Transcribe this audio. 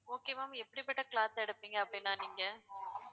okay ma'am எப்படிப்பட்ட cloth எடுப்பீங்க அப்படின்னா நீங்க